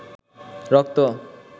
রক্ত